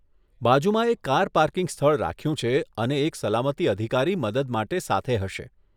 બાજુમાં એક car parking સ્થળ રાખ્યું છે અને એક સલામતી અધિકારી મદદ માટે સાથે હશે.